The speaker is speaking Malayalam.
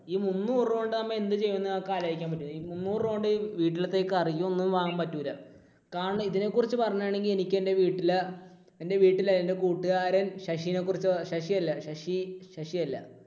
ഈ മുന്നൂറു രൂപ കൊണ്ട് നമ്മൾ എന്ത് ചെയ്യും എന്ന് നമുക്ക് ആലോചിക്കാൻ പറ്റുമോ? മുന്നൂറു രൂപ കൊണ്ട് വീട്ടിലത്തെ കറിയും ഒന്നും വാങ്ങാൻ പറ്റില്ല. കാരണം ഇതിനെക്കുറിച്ച് പറയുകയാണെങ്കിൽ എനിക്ക് എൻറെ വീട്ടിൽ, എൻറെ വീട്ടിൽ എൻറെ കൂട്ടുകാരൻ ശശിനെക്കുറിച്ച്, ശശി അല്ല, ശശി, ശശി അല്ല.